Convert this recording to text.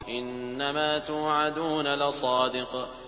إِنَّمَا تُوعَدُونَ لَصَادِقٌ